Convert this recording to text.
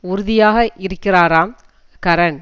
உறுதியாக இருக்கிறாராம் கரண்